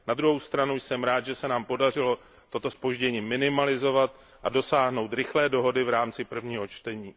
Na druhou stranu jsem rád, že se nám podařilo toto zpoždění minimalizovat a dosáhnout rychlé dohody v rámci prvního čtení.